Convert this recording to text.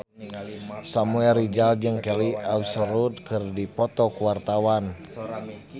Samuel Rizal jeung Kelly Osbourne keur dipoto ku wartawan